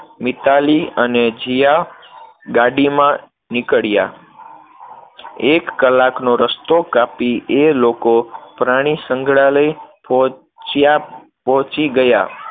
મિતાલી અને જીયા ગાડીમાં નીકળ્યા, એક કલાકનો રસ્તો કાપી એ લોકો પ્રાણીસંગ્રહાલય પહોંચ્યા, પહોંચી ગયા,